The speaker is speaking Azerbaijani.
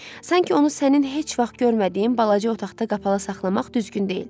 Sanki onu sənin heç vaxt görmədiyin balaca otaqda qapalı saxlamaq düzgün deyil.